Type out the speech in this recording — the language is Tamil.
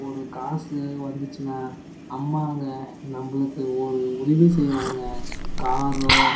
ஒரு காசு வந்துச்சுனா அம்மாக நம்மளுக்கு ஒரு உதவி செய்வாங்க காரோ--